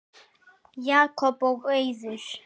Jakob og Auður.